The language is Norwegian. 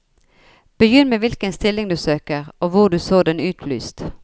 Begynn med hvilken stilling du søker og hvor du så den utlyst.